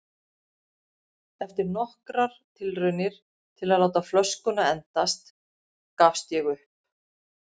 Eftir nokkrar tilraunir til að láta flöskuna endast gafst ég upp.